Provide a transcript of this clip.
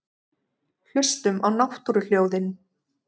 Hlustum á náttúruhljóðin.